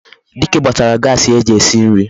Dike gbatara Gasii eji esi nri